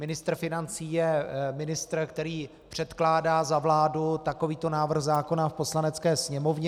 Ministr financí je ministr, který předkládá za vládu takovýto návrh zákona v Poslanecké sněmovně.